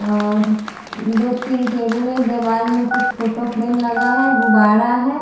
और दो-तीन टबुल है दिवाल में कुछ फोटो फ्रेम लगा है गुब्बारा है--